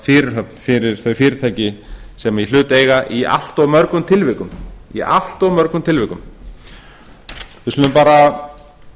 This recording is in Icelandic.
fyrirhöfn fyrir þau fyrirtæki sem í hlut eiga í allt of mörgum tilvikum við skulum bara